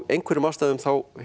einhverjum ástæðum